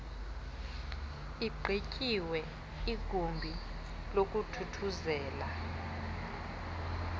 igqityiwe igumbi lokuthuthuzela